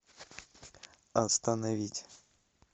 остановить